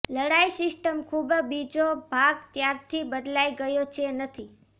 લડાઇ સિસ્ટમ ખૂબ બીજો ભાગ ત્યારથી બદલાઈ ગયો છે નથી